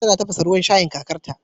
Nanny tana tafasa ruwan shayin kakarta